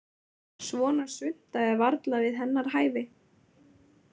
Svona svunta er varla við hennar hæfi.